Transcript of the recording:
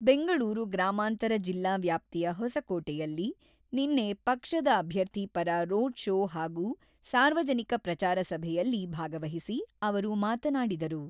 ಬೆಂಗಳೂರು ಗ್ರಾಮಾಂತರ ಜಿಲ್ಲಾ ವ್ಯಾಪ್ತಿಯ ಹೊಸಕೋಟೆಯಲ್ಲಿ ನಿನ್ನ ಪಕ್ಷದ ಅಭ್ಯರ್ಥಿ ಪರ ರೋಡ ಶೋ ಹಾಗೂ ಸಾರ್ವಜನಿಕ ಪ್ರಚಾರ ಸಭೆಯಲ್ಲಿ ಭಾಗವಹಿಸಿ ಅವರು ಮಾತನಾಡಿದರು.